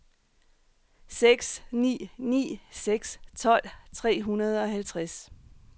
seks ni ni seks tolv tre hundrede og halvtreds